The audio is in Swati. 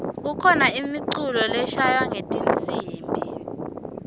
kukhano imiculo leislalwa ngetnsimbi